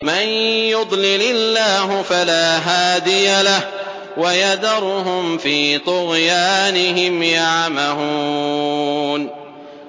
مَن يُضْلِلِ اللَّهُ فَلَا هَادِيَ لَهُ ۚ وَيَذَرُهُمْ فِي طُغْيَانِهِمْ يَعْمَهُونَ